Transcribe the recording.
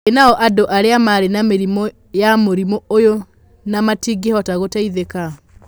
Ĩ nao andũ arĩa marĩ na mĩrimũ ya mũrimũ ũyũ na matingĩhota gũteithĩka?